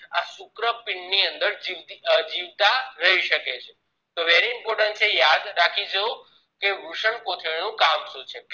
આ શુક્રપીંડ ની અંદર જીવતા રહી શકે છે તો very important છે યાદ રાખીજો કે વૃષ્ણકોથળી કામ શું છે